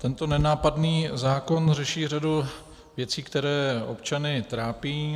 Tento nenápadný zákon řeší řadu věcí, které občany trápí.